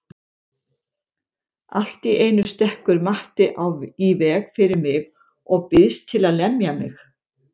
Allt í einu stekkur Matti í veg fyrir mig og býðst til að lemja mig.